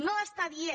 no està dient